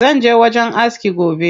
Zanje wajen aski gobe.